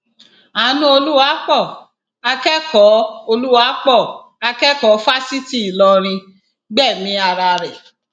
anú olùwapo akẹkọọ olùwapo akẹkọọ fáṣítì ìlọrin gbẹmí ara rẹ